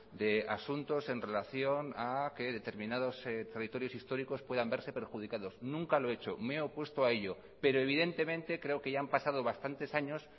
de asuntos en relación a que determinados territorios históricos puedan verse perjudicados nunca lo he hecho me he opuesto a ello pero evidentemente creo que ya han pasado bastantes años